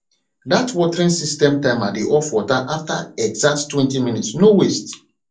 the watering system timer dey off water after exacttwentyminutes no waste